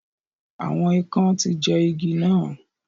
Awọn ikán ti jẹ igi nà